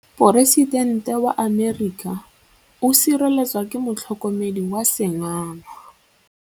Poresitêntê wa Amerika o sireletswa ke motlhokomedi wa sengaga.